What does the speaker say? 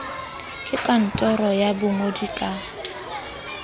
ke kantoro ya bongodi ka